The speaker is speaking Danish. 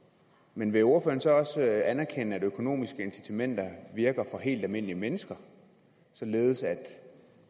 men vil ordføreren så også anerkende at økonomiske incitamenter virker for helt almindelige mennesker således at